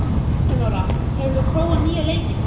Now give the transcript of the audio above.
Elenóra, hefur þú prófað nýja leikinn?